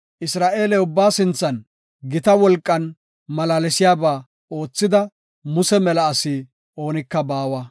Isra7eele ubbaa sinthan gita wolqan malaalsiyaba oothida, Muse mela asi oonika baawa.